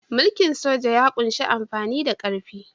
Mulkin soja ya ƙunshi amfani da ƙarfi.